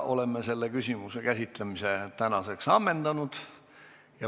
Oleme selle küsimuse käsitlemise täna ammendanud.